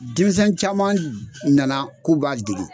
Denmisɛn caman nana k'u b'a dege